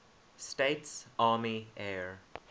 states army air